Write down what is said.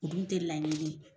O dun tɛ laɲini ye.